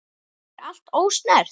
Er allt ósnert?